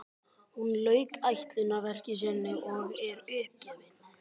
Hún lauk ætlunarverki sínu og er uppgefin.